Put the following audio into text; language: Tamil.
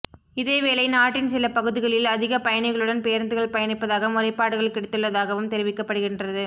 இதேவேளை நாட்டின் சில பகுதிகளில் அதிக பயணிகளுடன் பேருந்துகள் பயணிப்பதாக முறைப்பாடுகள் கிடைத்துள்ளதாகவும் தெரிவிக்கப்படுகின்றது